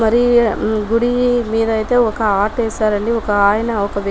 మరి గుడి మీద అయితే ఒక ఆర్ట్ వేశారండి ఒకాయన ఒక --